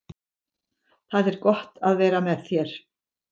Það er gott að vera með þér.